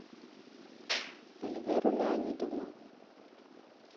эльверу леонидовну